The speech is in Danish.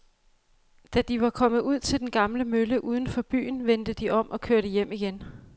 Da de var kommet ud til den gamle mølle uden for byen, vendte de om og kørte hjem igen.